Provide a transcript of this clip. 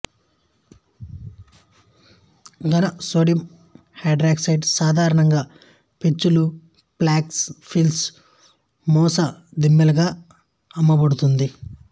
ఘన sodium hydroxide సాధారణంగా పెచ్చులు ప్లాక్స్ ప్రిల్స్ మూస దిమ్మలుగా అమ్మబడుతుంది